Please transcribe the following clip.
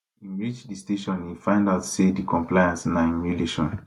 im reach di station e find out say di complainant na im relation